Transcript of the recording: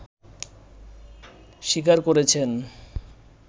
শিকার করেছেন